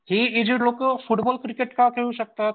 ही aged लोकं football cricket का खेळू शकतात?